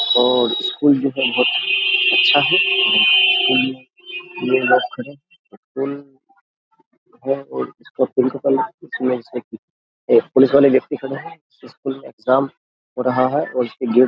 और स्कूल जो है बहुत अच्छा है है और इसका एक पुलिस वाले व्यक्ति खड़े हैं स्कूल में एग्जाम हो रहा है और --